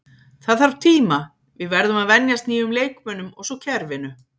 Það þarf tíma, við verðum að venjast nýjum leikmönnum og svo kerfinu.